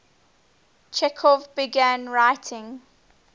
chekhov began writing